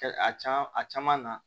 A caa a caman na